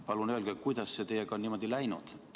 Palun öelge, kuidas see teiega on niimoodi läinud.